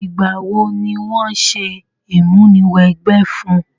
Ìgbà wo ni wo se ìmúniwẹgbẹ́ fun?